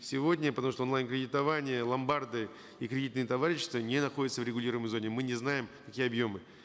сегодня потому что онлайн кредитование ломбарды и кредитные товарищества не находятся в регулируемой зоне мы не знаем какие объемы